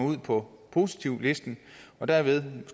ud på positivlisten og derved